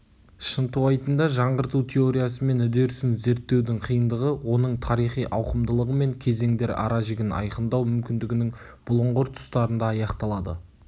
шынтуайтында жаңғырту теориясы мен үдерісін зерттеудің қиындығы оның тарихи ауқымдылығы мен кезеңдер ара жігін айқындау мүмкіндігінің бұлыңғыр тұстарында аяқталады